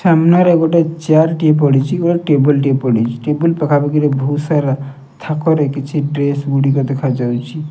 ସାମ୍ନାରେ ଗୋଟିଏ ଚେୟାରଟିଏ ପଡିଛି। ଗୋଟେ ଟେବୁଲଟିଏ ପଢିଛି। ଟେବୁଲ ପାଖାପାଖି ବହୁତ ସାର ଥାକରେ କିଛି ଡ୍ରେସ ଗୁଡିକ ଦେଖାଯାଉଛି।